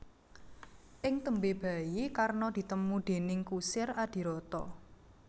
Ing tembé bayi Karna ditemu déning kusir Adhirata